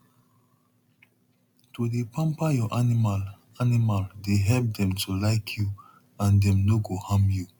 to dey pamper your animal animal dey help dem to like you and dem no go harm you